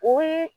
O ye